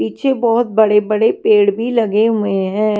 पीछे बहुत बड़े-बड़े पेड़ भी लगे हुए हैं।